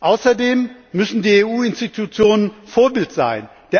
Außerdem müssen die EU Institutionen Vorbild sein.